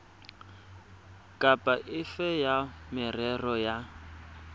kapa efe ya merero ya